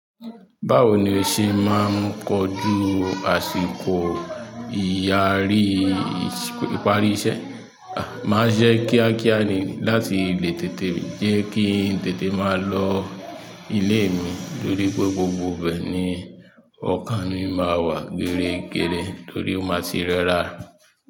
Báwo ni o ṣe máa ń kọju àsìkò ìparí iṣẹ́? Màá jẹ́ kíákíá ni láti lè tètè jẹ́ kí n tètè máa lọ ilé mi torí pé gbogbo ìbẹ̀ ni ọkàn mi máa wà gẹrẹ́gẹrẹ torí ó máa ti rẹ́ra.